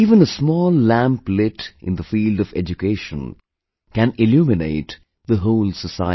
Even a small lamp lit in the field of education can illuminate the whole society